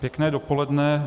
Pěkné dopoledne.